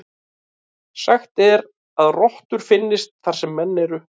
Sagt er að rottur finnist þar sem menn eru.